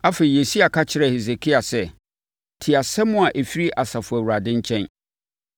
Afei, Yesaia ka kyerɛɛ Hesekia sɛ, “Tie asɛm a ɛfiri Asafo Awurade nkyɛn: